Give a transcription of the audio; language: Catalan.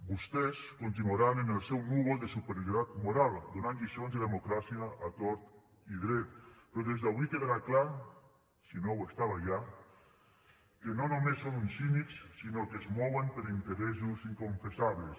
vostès continuaran en el seu núvol de superioritat moral donant lliçons de democràcia a tort i dret però des d’avui quedarà clar si no ho estava ja que no només són uns cínics sinó que es mouen per interessos inconfessables